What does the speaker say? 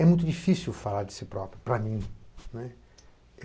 É muito difícil falar de si próprio para mim.